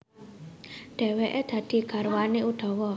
Dhèwèké dadi garwané Udawa